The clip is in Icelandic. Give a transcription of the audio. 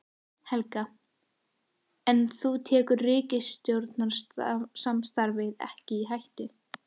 Helga: En þú tekur ríkisstjórnarsamstarfið ekki í hættu?